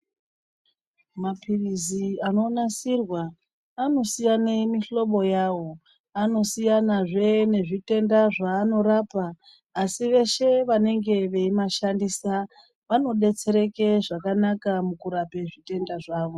Maphirizi anonasirwa anosiyane mihlobo yavo anosiyanazve nezvitenda zvaanorapa. Asi veshe vanenge veimashandisa vanobetsereke zvakanaka mukurape zvitenda zvavo.